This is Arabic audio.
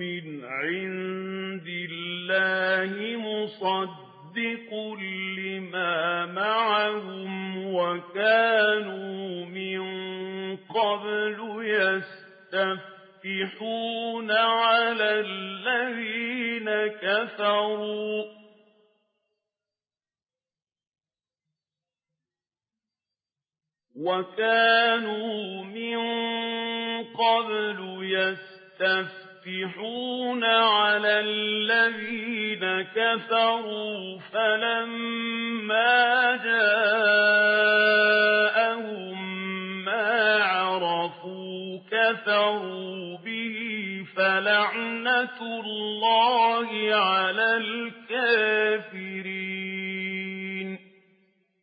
مِّنْ عِندِ اللَّهِ مُصَدِّقٌ لِّمَا مَعَهُمْ وَكَانُوا مِن قَبْلُ يَسْتَفْتِحُونَ عَلَى الَّذِينَ كَفَرُوا فَلَمَّا جَاءَهُم مَّا عَرَفُوا كَفَرُوا بِهِ ۚ فَلَعْنَةُ اللَّهِ عَلَى الْكَافِرِينَ